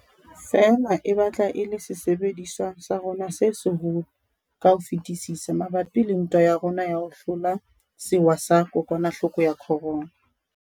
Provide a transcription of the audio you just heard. Feela e batla e le sesebediswa sa rona se seholo ka ho fetisisa mabapi le ntwa ya rona ya ho hlola sewa sa kokwanahloko ya corona.